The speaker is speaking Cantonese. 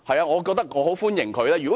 我也非常歡迎她這樣做。